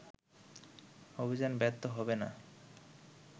অভিযান ব্যর্থ হবে না